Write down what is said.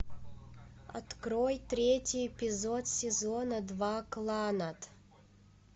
открой третий эпизод сезона два кланнад